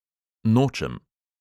"Nočem."